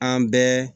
An bɛɛ